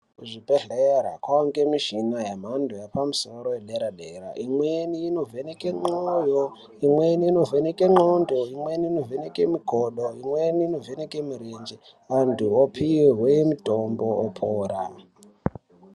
Kuzvibhedhlera kwavanike michina yemhadho yepamusoro yedera-dera. Imweni inovheneke mwoyo, imweni inovheneke ndxondo, imweni inovheneke mukodo, imweni inovheneke murenje antu opihwe mutombo opora.